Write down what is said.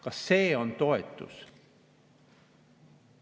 Kas see on toetus?